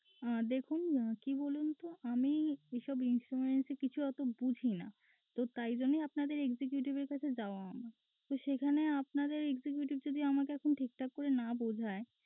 আহ দেখুন কি বলুন তো আমি এসব insurance র কিছু ওতো বুঝিনা তো তাই জন্যই আপনাদের executive এর কাছে যাওয়া তো সেখানে আপনাদের executive যদি আমাকে ঠিকঠাক না বুঝায়